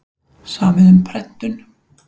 Samið um prentun